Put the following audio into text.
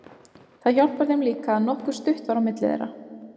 Það hjálpar þeim líka að nokkuð stutt var á milli þeirra.